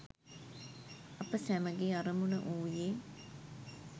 අප සැමගේ අරමුණ වූයේ